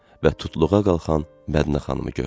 Və tutluğa qalxan Mədinə xanımı gördü.